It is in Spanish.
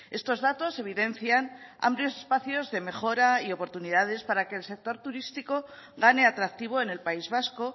estos datos evidencian amplios espacios de mejora y oportunidades para que el sector turístico gane atractivo en el país vasco